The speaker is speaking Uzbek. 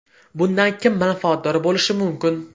Bundan kim manfaatdor bo‘lishi mumkin?